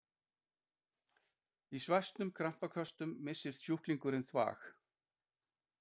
Í svæsnum krampaköstum missir sjúklingurinn þvag.